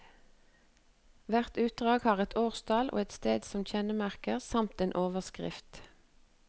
Hvert utdrag har et årstall og et sted som kjennemerke, samt en overskrift.